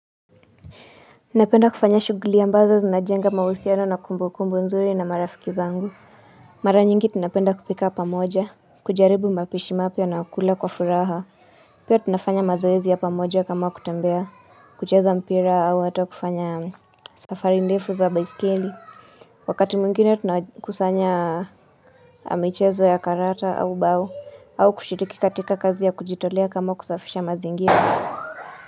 Napenda kufanya shughuli ambazo zinajenga mahusiano na kumbukumbu nzuri na marafiki zangu Mara nyingi tunapenda kupika pamoja, kujaribu mapishi mapya na kula kwa furaha Pia tunafanya mazoezi ya pamoja kama kutembea, kucheza mpira au hata kufanya safari ndefu za baiskeli Wakati mwingine tunakusanya michezo ya karata au bao, au kushiriki katika kazi ya kujitolea kama kusafisha mazingira.